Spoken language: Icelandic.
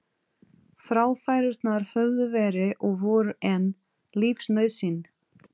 Fráfærurnar höfðu verið og voru enn lífsnauðsyn.